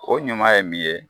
O ɲuman ye min ye